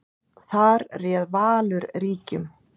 Þar réð Valur ríkjum.